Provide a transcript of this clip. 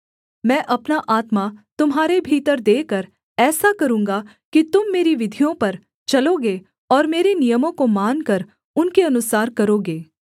मैं अपना आत्मा तुम्हारे भीतर देकर ऐसा करूँगा कि तुम मेरी विधियों पर चलोगे और मेरे नियमों को मानकर उनके अनुसार करोगे